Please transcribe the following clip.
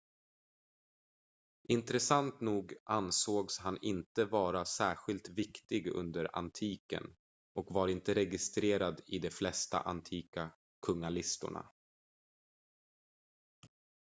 intressant nog ansågs han inte vara särskilt viktig under antiken och var inte registrerad i de flesta antika kungalistorna